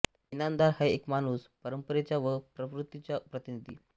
इनामदार हा एक माणूस परंपरेचा व प्रवृत्तीचा प्रतिनिधी